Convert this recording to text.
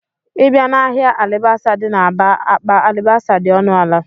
Ị bịa n'ahịa alibasa dị n'Aba, akpa alibasa dị ọnụala